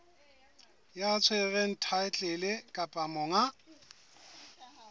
ya tshwereng thaetlele kapa monga